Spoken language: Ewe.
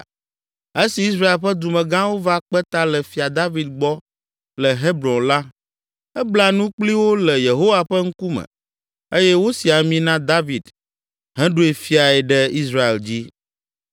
Esi Israel ƒe dumegãwo va kpe ta le Fia David gbɔ le Hebron la, ebla nu kpli wo le Yehowa ƒe ŋkume eye wosi ami na David heɖoe fiae ɖe Israel dzi.